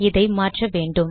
இதை மாற்ற வேண்டும்